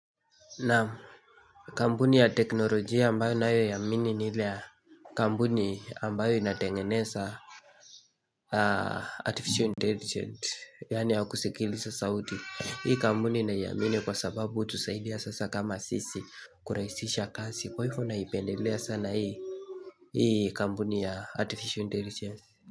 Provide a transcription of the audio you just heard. Na kampuni ya teknolojia ambayo nayoiamini niile ya kampuni ambayo inatengeneza Artificial Intelligence yaani ya kusikilisa sauti Hii kampuni naiamini kwa sababu hutusaidia sasa kama sisi kurahisisha kazi kwa hivyo naipendelea sana hii Hii kampuni ya Artificial Intelligence.